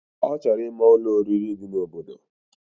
Ochoro ima Ụlọ oririi di na obodo